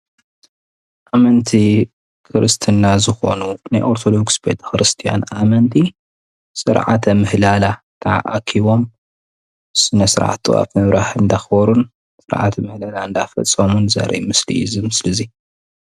ኣመንቲ እምነት ክርስትና ዝኮኑ ናይ ኦርቶዶክስ ቤተ ክርስቲያን ኣመንቲ ስርዓተ ምህለላ ተኣኪቦም ስነ ስርዓት ጥዋፍ ምብራህ እንዳኽበሩን ስርዓተ ምህለላ እንዳፈፀሙን ዘርኢ ምስሊ እዩ እዚ ምስሊ እዙይ።